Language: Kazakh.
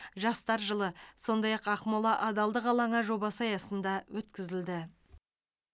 жастар жылы сондай ақ ақмола адалдық алаңы жобасы аясында өткізілді